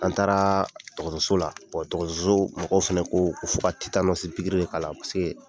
An taaraso dɔgɔtɔso la dɔgɔtɔsɔ mɔgɔw fɛnɛ ko ko fo ka de k'ala pasiki